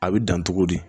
A bɛ dan togo di